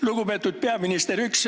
Lugupeetud peaminister!